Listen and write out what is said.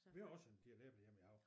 Vi har også en del æbler hjemme i haven